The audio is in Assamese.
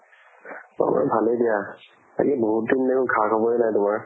মোৰ ভালে দিয়া। বাকী বহুত দিন হল সা খবৰে নাই তোমাৰ।